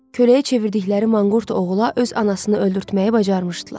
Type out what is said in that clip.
Köləyə çevirdikləri manqurt oğula öz anasını öldürtməyi bacarmışdılar.